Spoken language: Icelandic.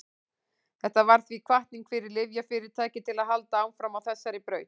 þetta varð því hvatning fyrir lyfjafyrirtæki til að halda áfram á þessari braut